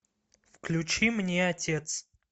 включи мне отец